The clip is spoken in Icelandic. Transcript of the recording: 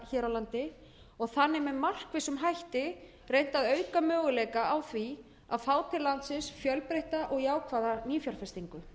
hér á landi og þannig með markvissum hætti reynt að auka möguleika á því að fá til landsins fjölbreytta og jákvæða nýfjárfestingu